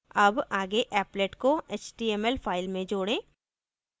अब आगे applet को html file में जोड़ें